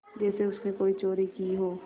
जैसे उसने कोई चोरी की हो